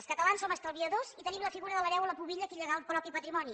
els catalans som estalviadors i tenim la figura de l’hereu o la pubilla a qui llegar el propi patrimoni